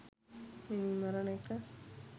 මිනීමරණ එක